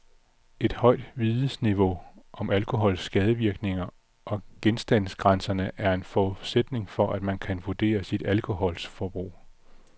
Et højt vidensniveau om alkohols skadevirkninger og genstandsgrænserne er en forudsætning for, at man kan vurdere sit alkoholforbrug.